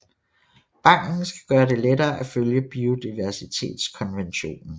Banken skal gøre det lettere at følge Biodiversitetskonventionen